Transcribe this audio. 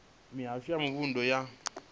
mihasho ya mavunḓu ya vha